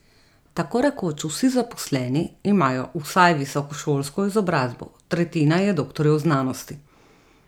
Tako rekoč vsi zaposleni imajo vsaj visokošolsko izobrazbo, tretjina je doktorjev znanosti.